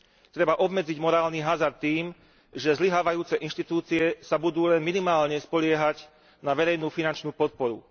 Treba obmedziť morálny hazard tým, že zlyhávajúce inštitúcie sa budú len minimálne spoliehať na verejnú finančnú podporu.